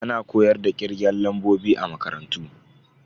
Ana koyar da kirgen lambobi a makarantu.